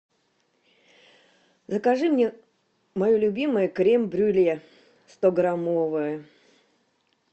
закажи мне мое любимое крем брюле стограммовое